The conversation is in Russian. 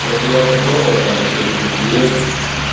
просто я уже пробовал там через ви пи эн